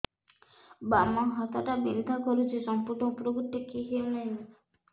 ବାମ ହାତ ଟା ବିନ୍ଧା କରୁଛି ସମ୍ପୂର୍ଣ ଉପରକୁ ଟେକି ହୋଉନାହିଁ